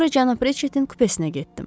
Sonra cənab Ritchettin kupesinə getdim.